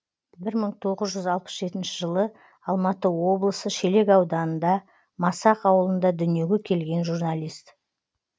бір мың тоғыз жүз алпыс жетінші жылы алматы облысында шелек ауданында масақ ауылында дүниеге келген журналист